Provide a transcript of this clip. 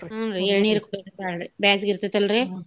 ಹ್ಞೂನ್ರಿ ಎಳ್ನೀರ್ ಕೊಡ್ಬೇಕ್ ಬಾಳ್ರಿ ಬ್ಯಾಸಗಿ ಇರ್ತೆತಲ್ರೀ .